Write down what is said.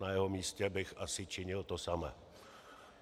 Na jeho místě bych asi činil to samé.